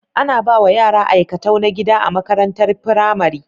Ana bawa yara aikatau na gida a makarantar pramari